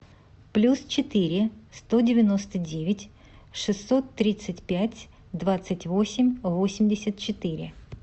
плюс четыре сто девяносто девять шестьсот тридцать пять двадцать восемь восемьдесят четыре